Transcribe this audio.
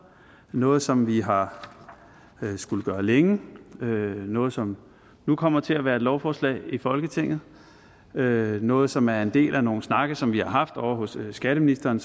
noget som vi har skullet gøre længe noget som nu kommer til at være et lovforslag i folketinget noget som er en del af nogle snakke som vi har haft ovre hos skatteministeren